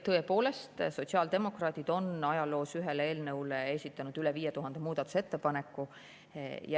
Tõepoolest, sotsiaaldemokraadid on ajaloos ühe eelnõu kohta esitanud üle 5000 muudatusettepaneku.